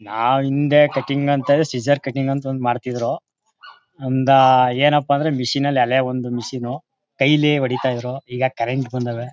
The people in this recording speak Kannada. ನಾವು ಹಿಂದೆ ಕಟಿಂಗ್ ಅಂತ ಸಿಐಸೋರ್ ಕಟಿಂಗ್ ಅಂತ ಮಾಡ್ತಿದ್ರು ಅಂದ ಎನ್ನಪ ಅಂದ್ರೆ ಮಷೀನ್ ಹಳೆ ಒಂದು ಮಷೀನ್ ಕೈಯಲ್ಲಿ ಹೊಡಿತಾಯಿದ್ರು. ಈಗ ಕರೆಂಟ್ ಬಂದವೇ.